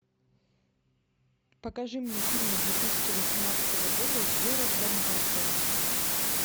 покажи мне фильмы две тысячи восемнадцатого года с джерардом батлером